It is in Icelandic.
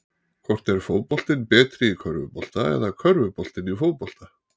Hvort er fótboltinn betri í körfubolta eða körfuboltinn í fótbolta?